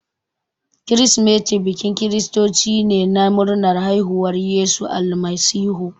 Kirsimati bikin kiristoci ne na murnar haifuwar Yesu Almasihu.